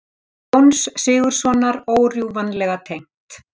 Jóns Sigurðssonar órjúfanlega tengt.